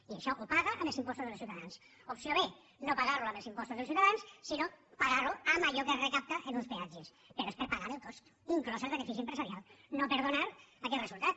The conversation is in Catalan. i això ho paga amb els impostos dels ciutadans opció b no pagar lo amb els impostos dels ciutadans sinó pagar ho amb allò que es recapta en uns peatges però és per pagar el cost inclòs el benefici empresarial no per donar aquest resultat